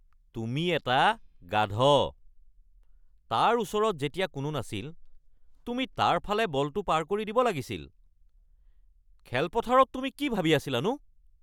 তুমি এটা গাধ। তাৰ ওচৰত যেতিয়া কোনো নাছিল তুমি তাৰ ফালে বলটো পাৰ কৰি দিব লাগিছিল। খেলপথাৰত তুমি কি ভাবি আছিলানো?